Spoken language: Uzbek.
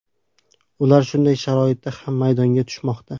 Ular shunday sharoitda ham maydonga tushmoqda.